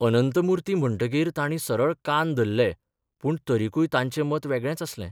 अनंतमुर्ती म्हणटकीर ताणी सरळ कान धल्ले पूण तरिकूय तांचें मत वेगळेंच आसलें....